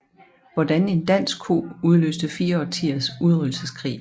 Hvordan en dansk ko udløste fire årtiers udryddelseskrig